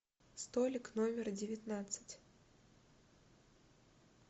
столик номер девятнадцать